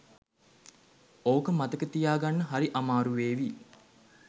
ඕක මතක තියාගන්න හරි අමාරු වේවි